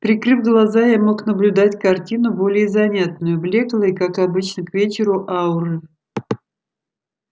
прикрыв глаза я мог наблюдать картину более занятную блёклые как обычно к вечеру ауры